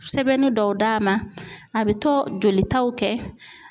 Sɛbɛnni dɔw d'a ma a bɛ to jolitaw kɛ.